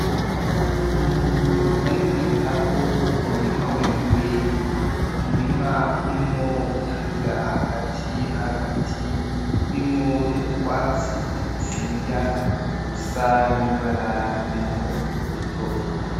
Umurimyi ari kwitaho umurima wiwe, umurima urimwo utuyira hagati na hagati urimwo n'utwatsi tugufiya dusa nibara y'umuhondo duto duto.